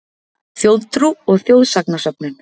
Þjóðtrú og þjóðsagnasöfnun